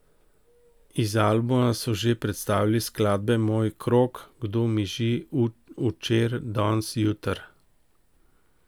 Iz albuma so že predstavili skladbe Moj krog, Kdo miži, Učer, dons, jutr.